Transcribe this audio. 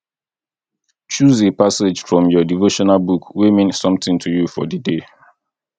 choose a passage from your devotional book wey mean something to you for di day